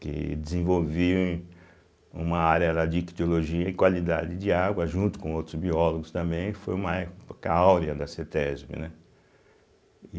Que desenvolvi uma área lá de ictiologia e qualidade de água, junto com outros biólogos também, foi uma época áurea da Cêtésbe, né?